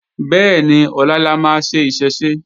Bẹ́ẹ̀ni, ọlá la máa ṣe Ìṣẹ̀ṣe